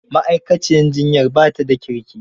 Ma'aikaciyar jiyyar ba da kirki